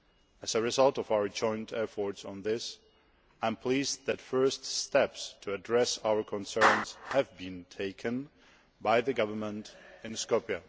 As a result of our joint efforts on this, I am pleased that the first steps to address our concerns have been taken by the government in Skopje.